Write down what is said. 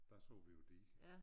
Der så vi jo diger